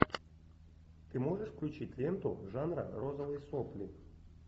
ты можешь включить ленту жанра розовые сопли